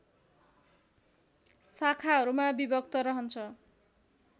शाखाहरूमा विभक्त रहन्छ